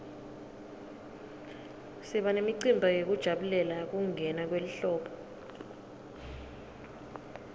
siba nemicimbi yekujabulela kungena kwelihlobo